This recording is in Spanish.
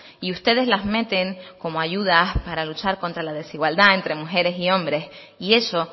y ustedes las meten como ayudas para luchar contra la desigualdad entre mujeres y hombres y eso